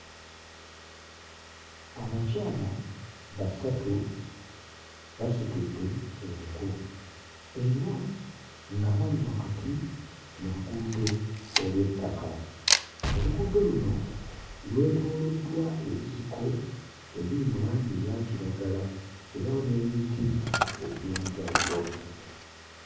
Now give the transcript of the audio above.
Abakyala basatu basitudde enku era nga bali wakati mu luguudo olw'ettaka, oluguudo luno lwetooloddwa ebisiko ebiri mu langi eya kiragala era n'emiti egy'enjawulo.